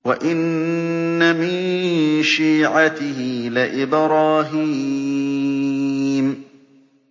۞ وَإِنَّ مِن شِيعَتِهِ لَإِبْرَاهِيمَ